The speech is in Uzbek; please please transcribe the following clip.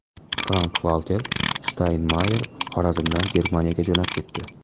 Frank-Valter Shtaynmayer Xorazmdan Germaniyaga jo‘nab ketdi.